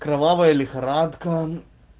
кровавая лихорадка